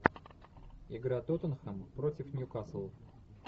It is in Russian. игра тоттенхэм против ньюкасл